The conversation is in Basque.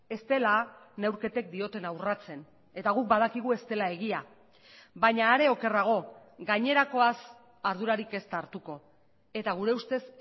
ez dela neurketek diotena urratzen eta guk badakigu ez dela egia baina are okerrago gainerakoaz ardurarik ez da hartuko eta gure ustez